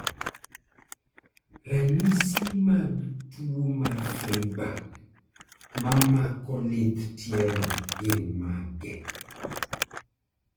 ranyisi mag tuo mar Freiberg mamko lith tielo gin mage?